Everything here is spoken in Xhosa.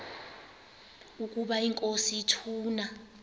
ukaba inkosi ituna